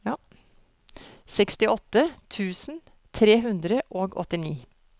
sekstiåtte tusen tre hundre og åttini